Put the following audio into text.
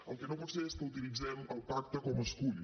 el que no pot ser és que utilitzem el pacte com a escull